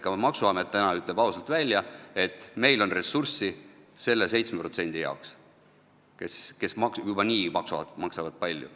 Ka maksuamet täna ütleb ausalt välja, et meil on ressurssi selle 7% jaoks, kes juba niigi maksavad palju.